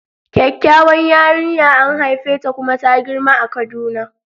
Kyakkyawar yarinya an haifeta kuma ta girma a kaduna.